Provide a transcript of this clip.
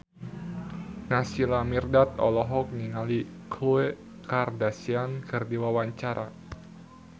Naysila Mirdad olohok ningali Khloe Kardashian keur diwawancara